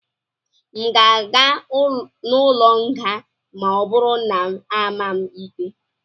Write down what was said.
M ga-aga n'ụlọ nga ma ọ bụrụ na a maa m ikpe?